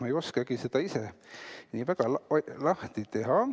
Ei oskagi seda karpi hästi lahti teha ...